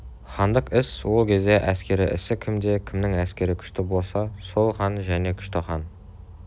хандық іс ол кезде әскер ісі кім де кімнің әскері күшті болса сол хан және күшті хан